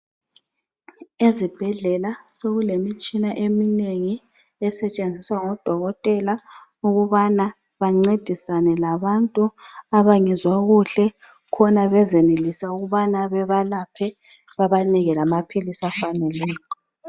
Ezibhedlela sokulemitshina eminengi esetshenziswa ngodokotela ukubana bancedisane labantu abangezwa kuhle khona bezenelisa ukubana bebalaphe, bebanike lamaphilisi afaneleyo.